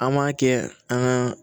An m'a kɛ an ka